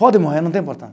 Pode morrer, não tem